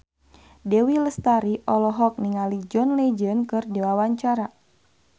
Dewi Lestari olohok ningali John Legend keur diwawancara